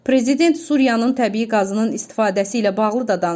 Prezident Suriyanın təbii qazının istifadəsi ilə bağlı da danışıb.